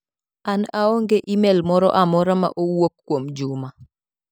An aong'e imel moro amora ma owuok kuomJuma.